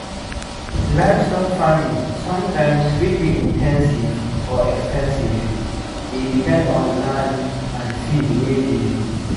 livestock farming sometimes fit be in ten sive or ex ten sive e depend on land and feed wey dey